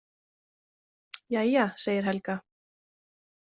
Jæja, segir Helga.